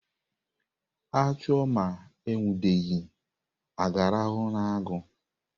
A chụọ ma e nwudeghị, a ga-arahụ n'agụ?